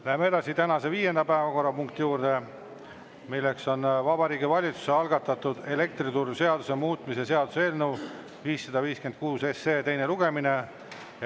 Lähme edasi tänase viienda päevakorrapunkti juurde, milleks on Vabariigi Valitsuse algatatud elektrituruseaduse muutmise seaduse eelnõu 556 teine lugemine.